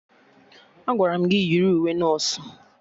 Agwara m gị yiri uwe nọsụ!